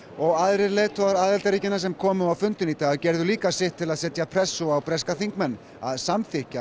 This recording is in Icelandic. og aðrir leiðtogar aðildarríkjanna sem komu á fundinn í dag gerðu líka sitt til að setja pressu á breska þingmenn að samþykkja